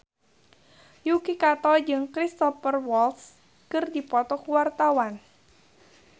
Yuki Kato jeung Cristhoper Waltz keur dipoto ku wartawan